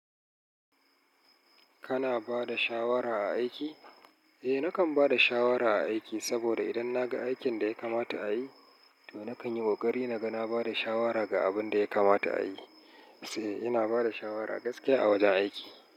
Kana ba da shawara a aiki? Eh, nakan ba da shawara a aiki saboda idan na ga aikin da ya kamata a yi, to nakan yi ƙoƙari na ga na ba da shawara ga abin da ya kamata a yi. Sae, ina ba da shawara gaskiya a wajen aiki.